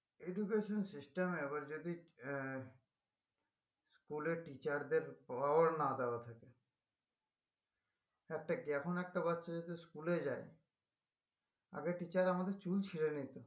Education system এ এবার যদি আহ school এ teacher দের না দেওয়া থাকে একটা একটা বাচ্চা যদি school এ যাই আগে teacher আমাদের চুল ছিড়ে নিতো